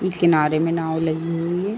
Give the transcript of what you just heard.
इस किनारे में नाव लगी हुई है।